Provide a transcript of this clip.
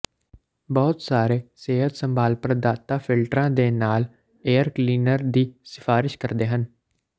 ਬਹੁਤ ਸਾਰੇ ਸਿਹਤ ਸੰਭਾਲ ਪ੍ਰਦਾਤਾ ਫਿਲਟਰਾਂ ਦੇ ਨਾਲ ਏਅਰ ਕਲੀਨਰ ਦੀ ਸਿਫਾਰਸ਼ ਕਰਦੇ ਹਨ